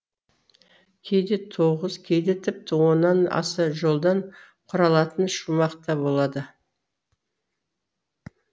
кейде тоғыз кейде тіпті оннан аса жолдан құралатын шумақ та болады